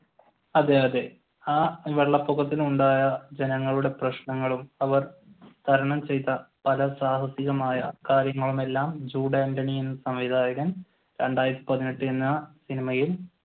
അതെ അതെ ആ വെള്ളപ്പൊക്കത്തിന് ഉണ്ടായ ജനങ്ങളുടെ പ്രശ്നവും തരണം ചെയ്ത പല സാഹസികമായ കാര്യങ്ങളുമെല്ലാം ജൂഡ് ആന്റണി സംവിധായകൻ രണ്ടായിരത്തി പതിനെട്ട് എന്ന് പറഞ്ഞ സിനിമയിൽ